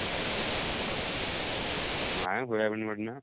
ନାଇଁ soyabean ବଡି ନା